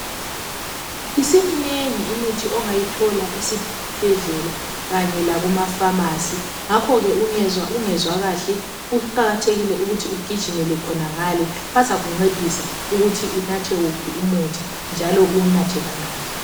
Isiminengi imithi ongayithola esibhedlela kanye lakumafamasi. Ngakho ke ungezwa ungezwa kuhle kuqakathekile ukuthi ugijimele khonangale bazakuncedisa ukuthi unathe wuphi umuthi njalo uwunathe kangaki.